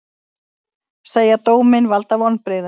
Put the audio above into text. Segja dóminn valda vonbrigðum